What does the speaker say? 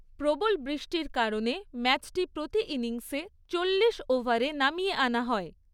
প্রবল বৃষ্টির কারণে ম্যাচটি প্রতি ইনিংসে চল্লিশ ওভারে নামিয়ে আনা হয়।